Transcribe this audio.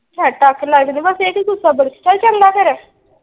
ਚੱਲ ਚੰਗਾ ਫੇਰ।